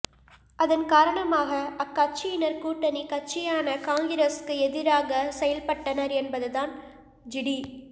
அதன் காரணமாக அக்கட்சியினர் கூட்டணி கட்சியான காங்கிரசுக்கு எதிராக செயல்பட்டனர் என்பதுதான் ஜிடி